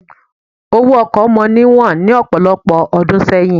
Owó ọkọ̀ mọ níwọ̀n lọ́pọ̀lọpọ̀ ọdún sẹ́yìn.